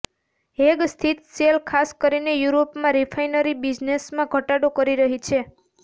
Hague સ્થિત Shell ખાસ કરીને યુરોપમાં રિફાઇનરી બિઝનેસમાં ઘટાડો કરી રહી છે